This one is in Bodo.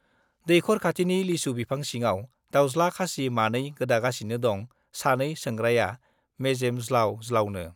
दैखर खाथिनि लिसु बिफां सिङाव दाउज्ला खासि मानै गोदागासिनो दं सानै सोंग्राया मेजेम ज्लाउ ज्लाउनो।